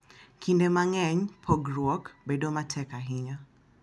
Kinde mang’eny, pogruok bedo matek ahinya .